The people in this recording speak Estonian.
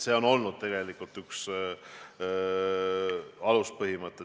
See on olnud üks aluspõhimõte.